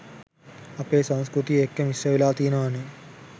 අපේ සංස්කෘතිය එක්ක මිශ්‍රවෙලා තියනවනේ